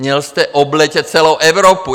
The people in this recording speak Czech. Měl jste obletět celou Evropu!